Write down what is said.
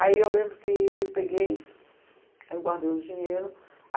Aí eu lembro que eu peguei, aí eu guardei o dinheiro.